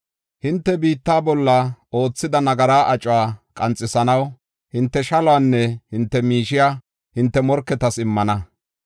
Hinte biitta bolla oothida nagaraa acuwa qanxisanaw hinte shaluwanne hinte miishiya hinte morketas immana.